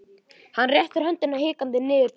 Hann réttir höndina hikandi niður til hennar.